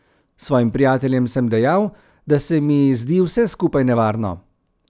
Svojim prijateljem sem dejal, da se mi zdi vse skupaj nevarno.